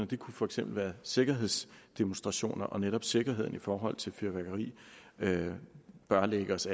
det kunne for eksempel være sikkerhedsdemonstrationer og netop sikkerheden i forhold til fyrværkeri bør ligge os